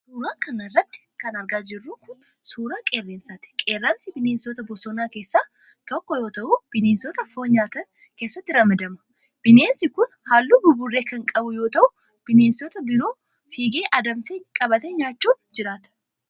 Suura kana irratti kan argaa jirru kun, suura qeerransaati. Qeerransi ,bineensota bosonaa keessaa tokko yoo ta'u ,bineensota foon nyaatan keessatti ramadama. Bineensi kun, haalluu buburree kan qabu yoo ta'u ,bineensota biroo fiigee adamsee qabatee nyaachuun jiraata.